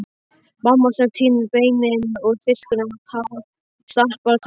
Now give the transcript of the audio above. Mamma sem tínir beinin úr fiskinum og stappar kartöflurnar.